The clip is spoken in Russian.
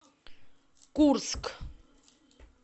курск